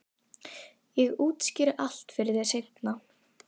Ég útskýri allt fyrir þér seinna.